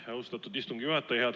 Aitäh, austatud istungi juhataja!